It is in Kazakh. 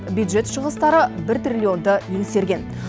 бюджет шығыстары бір триллионды еңсерген